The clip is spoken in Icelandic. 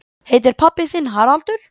Heitir pabbi þinn Haraldur?